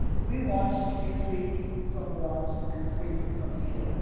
We want to be free from want and free from fear.